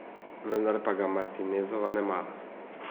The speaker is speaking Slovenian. Vendar pa ga Martinezova ne mara.